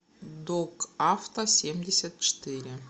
док автосемьдесятчетыре